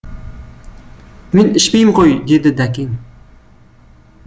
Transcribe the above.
мен ішпеймін ғой деді дәкең